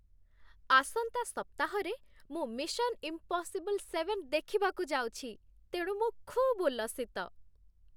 ଆସନ୍ତା ସପ୍ତାହରେ ମୁଁ 'ମିଶନ୍ ଇମ୍ପସିବଲ୍ ସେଭେନ୍' ଦେଖିବାକୁ ଯାଉଛି, ତେଣୁ ମୁଁ ଖୁବ୍ ଉଲ୍ଲସିତ ।